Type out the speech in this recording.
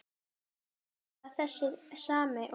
Er það þessi sami og.